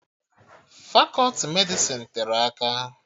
Fakọti Medịsịn tere aka